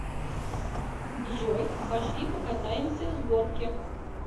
джой пошли покатаемся с горки